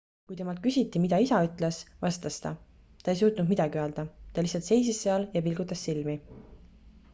kui temalt küsiti mida isa ütles vastas ta ta ei suutnud midagi öelda ta lihtsalt seisis seal ja pilgutas silmi